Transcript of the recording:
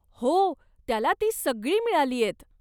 हो, त्याला ती सगळी मिळालीयत.